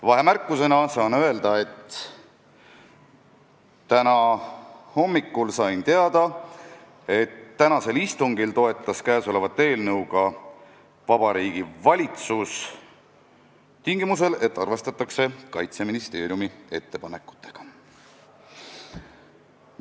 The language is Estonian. Vahemärkusena saan öelda: täna hommikul sain teada, et tänasel istungil toetas kõnesolevat eelnõu ka Vabariigi Valitsus, tingimusel, et arvestatakse Kaitseministeeriumi ettepanekutega.